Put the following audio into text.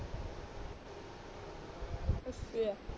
ਅੱਛਾ